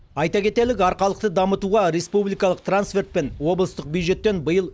айта кетелік арқалықты дамытуға республикалық трансфертпен облыстық бюджеттен биыл